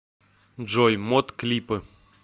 джой мот клипы